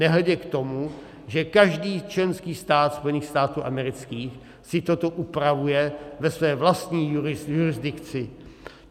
Nehledě k tomu, že každý členský stát Spojených států amerických si toto upravuje ve své vlastní jurisdikci.